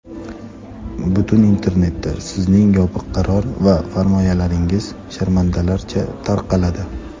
butun internetda sizning yopiq qaror va farmoyishlaringiz sharmandalarcha tarqaladi.